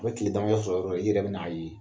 A bɛ tile damadɔ sɔrɔ yɔrɔ o yɔrɔ i yɛrɛ bɛ n'a ye.